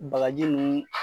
Bagaji nunnu